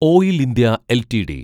oil India LTD